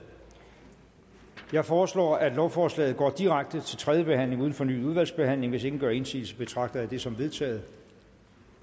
jeg foreslår at lovforslaget går direkte til tredje behandling uden fornyet udvalgsbehandling hvis ingen gør indsigelse betragter jeg det som vedtaget